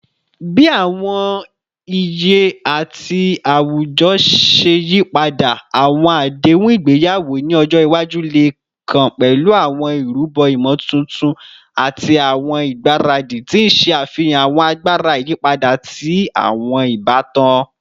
Bi awọn iye ti awujọ ṣe yipada, awọn adehun igbeyawo ni ọjọ iwaju le kan pẹlu awọn irubo imotuntun ati awọn igbaradi, ti n ṣe afihan awọn agbara iyipada ti awọn ibatan.